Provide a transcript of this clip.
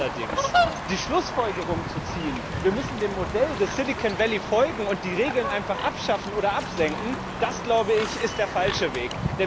Daraus allerdings die Schlussfolgerung zu ziehen, wir müssten dem Modell des Silicon Valley folgen und die Regeln einfach abschaffen oder absenken, das, glaube ich, ist der falsche Weg.